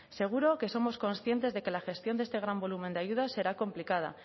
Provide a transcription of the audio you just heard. seguro que somos conscientes de que la gestión de este gran volumen de ayudas será complicada